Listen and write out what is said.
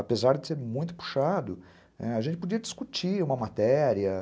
Apesar de ser muito puxado, ãh, a gente podia discutir uma matéria.